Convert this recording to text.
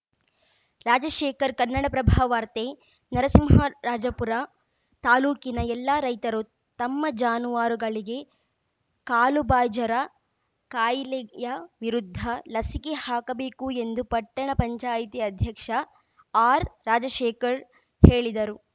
ರಾಜಶೇಖರ್‌ ಕನ್ನಡಪ್ರಭ ವಾರ್ತೆ ನರಸಿಂಹರಾಜಪುರ ತಾಲೂಕಿನ ಎಲ್ಲ ರೈತರು ತಮ್ಮ ಜಾನುವಾರುಗಳಿಗೆ ಕಾಲುಬಾಯಿಜ್ವರ ಕಾಯಿಲೆಯ ವಿರುದ್ಧ ಲಸಿಕೆ ಹಾಕಬೇಕು ಎಂದು ಪಟ್ಟಣ ಪಂಚಾಯಿತಿ ಅಧ್ಯಕ್ಷ ಆರ್‌ರಾಜಶೇಖರ್‌ ಹೇಳಿದರು